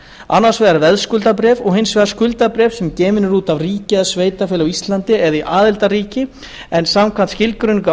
annars vegar veðskuldabréf og hins vegar skuldabréf sem eru gefin út af ríki eða sveitarfélagi á íslandi eða í aðildarríki en samkvæmt skilgreiningu í